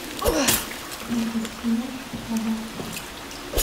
припять ты можешь показать